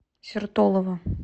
сертолово